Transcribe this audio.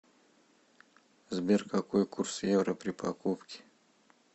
сбер какой курс евро при покупке